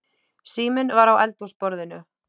Síminn var á eldhúsborðinu.